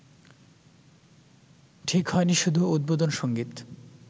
ঠিক হয়নি শুধু উদ্বোধন সংগীত